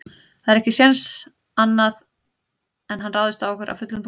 Það er ekki séns annað en hann ráðist á okkur af fullum þunga.